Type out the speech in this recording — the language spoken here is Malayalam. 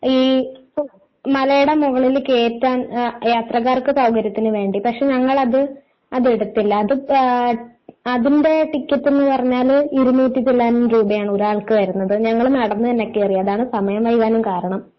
ഈ മലയുടെ മുകളിൽ കയറ്റാൻ യാത്രക്കാർക്ക് സൗകര്യത്തിന് വേണ്ടി പക്ഷെ ഞങ്ങൾ അത് അത് എടുത്തില്ല. അതിന്റെ ടിക്കറ്റ് എന്ന് പറഞ്ഞാല് ഇരുന്നൂറ്റി ചില്വാനം രൂപയാണ് ഒരാൾക്ക് വരുന്നത് ഞങ്ങൾ നടന്നു തന്നെകയറിഅതാണ് സമയം വൈകാനും കാരണം.